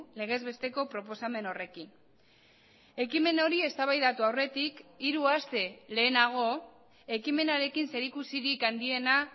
legez besteko proposamen horrekin ekimen hori eztabaidatu aurretik hiru aste lehenago ekimenarekin zerikusirik handiena